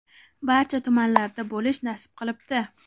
barcha tumanlarda bo‘lish nasib qilibdi.